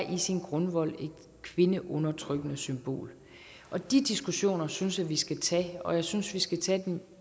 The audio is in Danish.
i sin grundvold er et kvindeundertrykkende symbol de diskussioner synes jeg at vi skal tage og jeg synes at vi skal tage dem